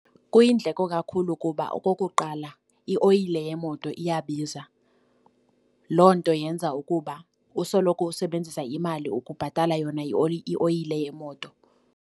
Kuyindleko kakhulu kuba okokuqala ioyile yemoto iyabiza. Loo nto yenza ukuba usoloko usebenzisa imali ukubhatala yona ioyile yemoto.